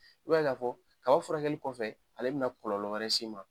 I b'a ye k'a fɔ kaba furakɛli kɔfɛ ale bɛna kɔlɔlɔ wɛrɛ s'i ma.